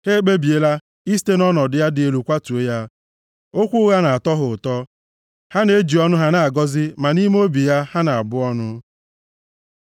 Ha ekpebiela isite nʼọnọdụ ya dị elu kwatuo ya; okwu ụgha na-atọ ha ụtọ. Ha na-eji ọnụ ha na-agọzi, ma nʼime obi ha, ha na-abụ ọnụ. Sela